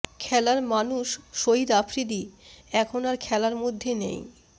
খেলার মানুষ শহিদ আফ্রিদি এখন আর খেলার মধ্যে নেই